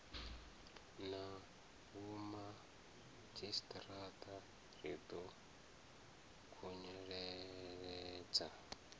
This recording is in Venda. na vhomadzhisiṱiraṱa ri ḓo khunyeledza